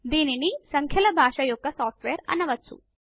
దీనిని సంఖ్యల భాష యొక్క సాఫ్ట్ వేర్ అనవచ్చు